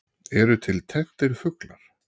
Eru til tenntir fuglar?